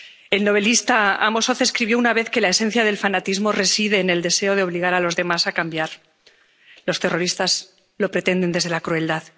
El novelista Amos Oz escribió una vez que la esencia del fanatismo reside en el deseo de obligar a los demás a cambiar los terroristas lo pretenden desde la crueldad.